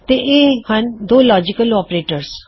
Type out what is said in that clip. ਤੋ ਇਹ ਹਣ ਦੋ ਲੌਜਿਕਲ ਆਪਰੇਟਰਜ਼